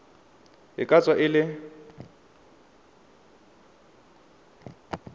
e ka tswa e le